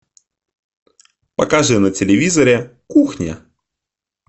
покажи на телевизоре кухня